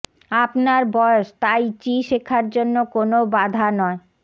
আপনার বয়স tai chi শেখার জন্য কোনও বাধা নয়